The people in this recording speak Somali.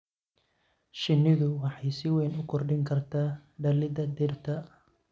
Shinnidu waxay si weyn u kordhin kartaa dhalidda dhirta.